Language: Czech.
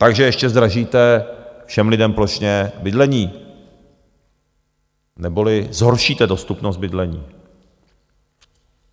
Takže ještě zdražíte všem lidem plošně bydlení, neboli zhoršíte dostupnost bydlení.